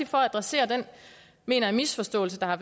for at adressere den mener jeg misforståelse der har